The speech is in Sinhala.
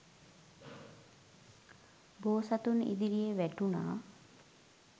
බෝසතුන් ඉදිරියේ වැටුණා.